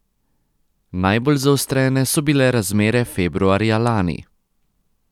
Najbolj zaostrene so bile razmere februarja lani.